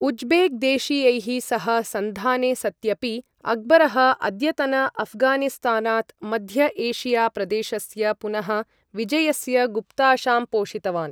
Uzbek देशीयैः सह सन्धाने सत्यपि, अक्बरः, अद्यतन अऴ्घानिस्तानात् मध्य एशिया प्रदेशस्य पुनः विजयस्य गुप्ताशां पोषितवान्।